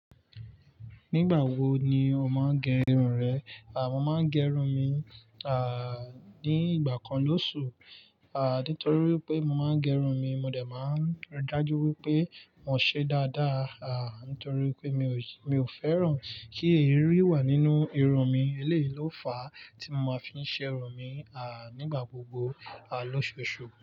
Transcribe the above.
Nígbà wo ni o máa ń gẹrun rẹ? À, mo máa ń gẹrun mi, à, ní ìgbà kan lóṣù. À, nítorí wipé mo máa ń gẹrun mi, mo dẹ̀ máa ń rí dájú wípé mo ṣe dáadáa, à, nítorí pé mi ò, mi ò fẹ́ràn kí eerí wà nínú irun mi. Eléyi lo fáà tí mo máa ń fi ṣe irun mi, à, nígbà gbogbo, à, lóṣọòṣù.